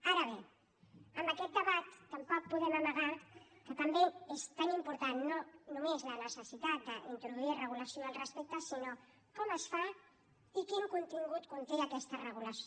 ara bé en aquest debat tampoc podem amagar que també és tan important no només la necessitat d’introduir regulació al respecte sinó com es fa i quin contingut conté aquesta regulació